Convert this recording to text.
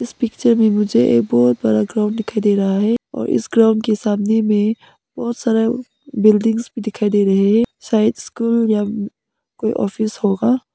इस पिक्चर में मुझे ये बहोत बड़ा ग्राउंड दिखाई दे रहा है और इस ग्राउंड के सामने में बहुत सारा बिल्डिंग्स भी दिखाई दे रहे है शायद स्कूल या कोई ऑफिस होगा।